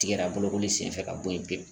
Tigɛra bolokoli senfɛ ka bɔ yen pewu